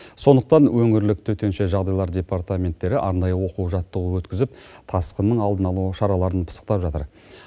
сондықтан өңірлік төтенше жағдайлар департаменттері арнайы оқу жаттығу өткізіп тасқынның алдын алу шараларын пысықтап жатыр